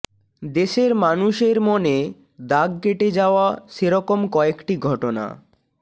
দেশের মানুষের মনে দাগ কেটে যাওয়া সেরকম কয়েকটি ঘটনাঃ